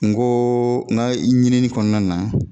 N ko n ka ɲinini kɔnɔna na